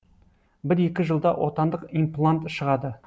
бір екі жылда отандық имплант шығады